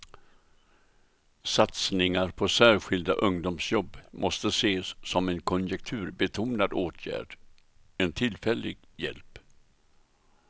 Satsningar på särskilda ungdomsjobb måste ses som en konjunkturbetonad åtgärd, en tillfällig hjälp.